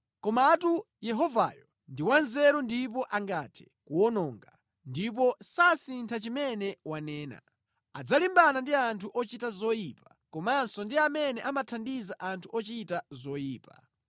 Komatu Yehovayo ndi wanzeru ndipo angathe kuwononga, ndipo sasintha chimene wanena. Adzalimbana ndi anthu ochita zoyipa, komanso ndi amene amathandiza anthu ochita zoyipa.